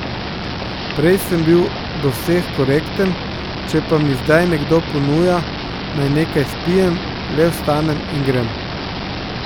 Prej sem bil do vseh korekten, če pa mi zdaj nekdo ponuja, naj nekaj spijem, le vstanem in grem.